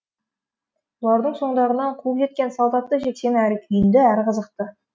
бұлардың соңдарынан қуып жеткен салт атты жексен әрі күйінді әрі қызықты